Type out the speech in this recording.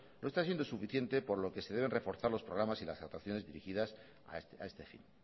no está siendo suficiente por lo que se deben reforzar los programas y las actuaciones dirigidas a este fin